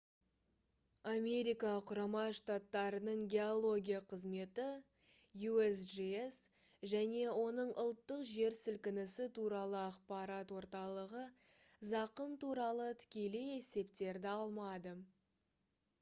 америка құрама штаттарының геология қызметі usgs және оның ұлттық жер сілкінісі туралы ақпарат орталығы зақым туралы тікелей есептерді алмады